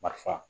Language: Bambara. Marifa